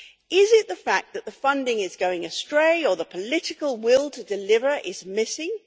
Is it the fact that the funding is going astray, or the political will to deliver is missing?